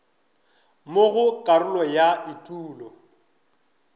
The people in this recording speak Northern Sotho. mo go karolo ya etulo